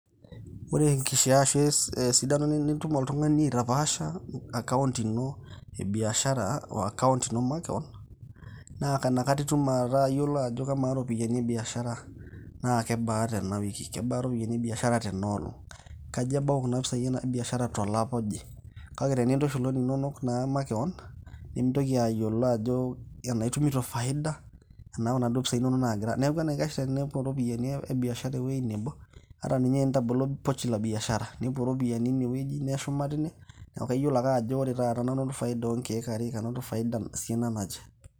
Ore enkishaa arashu esidano nitum oltung'ani aitapaasha account ino ebiashara oo c[s]account ino makewon naa nakata itum ake atayiolo ajo kamaa iropiyiani e biashara naa kebaa tena wiki, kebaa iropiyiani ebiashara tena olong'?, kaja ebau kuna pisai enabiashara tolapa oje?. Kake tenintushul oninonok naa makewon nemintoki ayiolo ajo enaa itumito faida enaa inaduo pisai inonok naagira. Neeku enaikash tenepuo iropiyiani ebiashara ewuoji nebo ata ninye tenitabolo pochi la biashara nepuo iropiyiani inewueji, neshuma teine neeku kaiyiolo ake ajo ore taata nanu, kanoto faida oonkeek are, kanoto faida esiana naje.